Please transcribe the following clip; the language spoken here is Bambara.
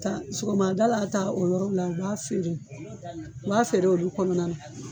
Ta sogomadala ta o yɔrɔ la, u b'a feere . U b'a feere olu kɔnɔna na.